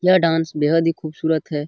यह डांस बेहद ही खूबसूरत है।